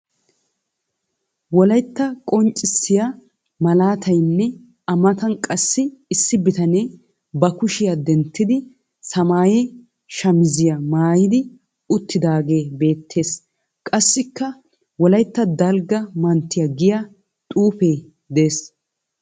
Wolayitta qonccissiya malaatayinne a matan qassi issi bitanee ba kushiya denttidi samaaya shamiziya maayidi uttidaagee beettes. Qassikka wolayitta dalgga manttiya giya xuufee des.